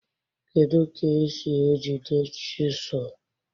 Kedụ ka e si e jide chịsụlụ?